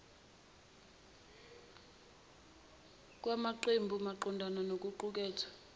kwamaqembu maqondana nokuqukethwe